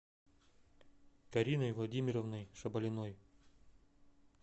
кариной владимировной шабалиной